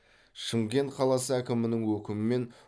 шымкент қаласы әкімінің өкімімен